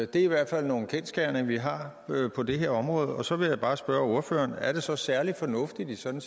det er i hvert fald nogle kendsgerninger vi har på det her område og så vil jeg bare spørge ordføreren er det så særlig fornuftigt i sådan